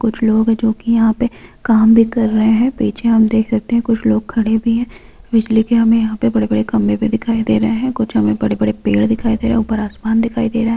कुछ लोग है जो की यहाँ पे काम भी कर रहे है पीछे हम देख सकते है कुछ लोग खड़े भी है बिजली के हमें यहाँ पे बड़े-बड़े खम्बे भी दिखाई दे रहे है कुछ हमें बड़े-बड़े पेड़े देखाई दे रहे है ऊपर आसमान दिखाई दे रहा है।